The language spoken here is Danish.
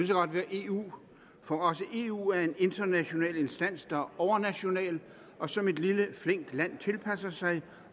så godt være eu for også eu er en international instans der er overnational og som et lille flink land tilpasser sig